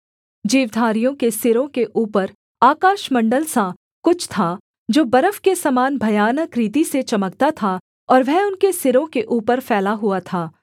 जीवधारियों के सिरों के ऊपर आकाशमण्डल सा कुछ था जो बर्फ के समान भयानक रीति से चमकता था और वह उनके सिरों के ऊपर फैला हुआ था